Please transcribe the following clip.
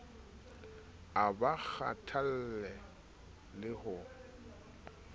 a ba kgathalle le ha